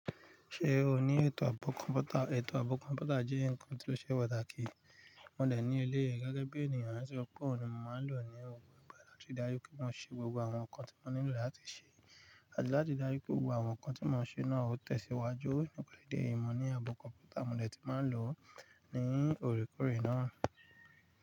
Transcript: Ṣé o ní ètò abọ kọ̀ǹpútà? Ètò abọ kọ̀ǹpútà jẹ́ ǹkan tí ó ṣe pàtàkì. Mo dé ní èléyìí, gẹ́gẹ́bi ènìyàn tí ó pọ, mo ma ń lo ní gbogbo ìgbà, láti rí dájú kí wọ́n ṣe gbogbo àwọn ǹkan tí mo nílò láti ṣe, àti láti rí dájú pé gbogbo àwọn ǹkan tí mo ń ṣe náà ó tẹ̀síwájú. Nípa ìdí eyií, mo ní abọ kọ̀ǹpútà mo dé tí ma ń lo ní òrékoore náà.